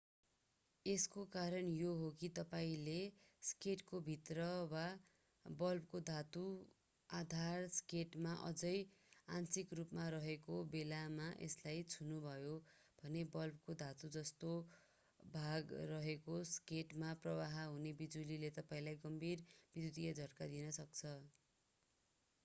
यसको कारण यो हो कि तपाईंले सकेटको भित्र वा बल्बको धातु आधार सकेटमा अझै आंशिक रूपमा रहेको बेलामा यसलाई छुनुभयो भने बल्बको धातु जस्तो भाग रहेको सकेटमा प्रवाह हुने बिजुलीले तपाईंलाई गम्भीर विद्युतीय झट्का दिन सक्छ